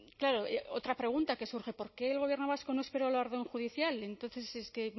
claro otra pregunta que surge por qué el gobierno vasco no esperó a la orden judicial entonces es que